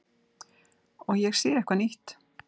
Og ég sé eitthvað nýtt.